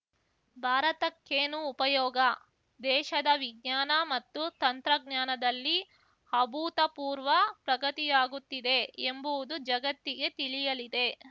ಭಾರತಕ್ಕೇನು ಉಪಯೋಗ ದೇಶದ ವಿಜ್ಞಾನ ಮತ್ತು ತಂತ್ರಜ್ಞಾನದಲ್ಲಿ ಅಭೂತಪೂರ್ವ ಪ್ರಗತಿಯಾಗುತ್ತಿದೆ ಎಂಬುವುದು ಜಗತ್ತಿಗೆ ತಿಳಿಯಲಿದೆ